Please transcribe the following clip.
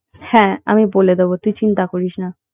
হ্যাঁ আমি বলে দেবো তুই চিন্তা করিস না